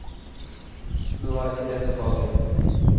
Nå var ikke det så farlig.